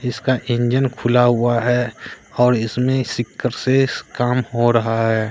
इसका इंजन खुला हुआ है और इसमें काम हो रहा है।